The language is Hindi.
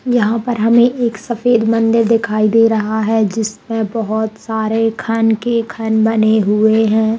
यहाँ पर हमे एक सफेद मंदिर दिखाई दे रहा है जिस पे बहोत सारे खन के खन बने हुए है।